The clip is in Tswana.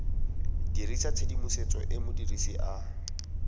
dirisa tshedimosetso e modirisi a